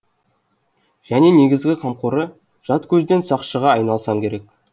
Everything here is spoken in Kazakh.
және негізгі қамқоры жат көзден сақшыға айналсам керек